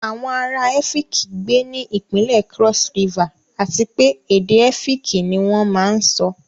Àwọn ará Ẹ́fííki gbé ní ìpínlẹ̀ Cross River àti pé èdè Ẹ́fíkì ni wón máa ń sọ.